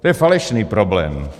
To je falešný problém.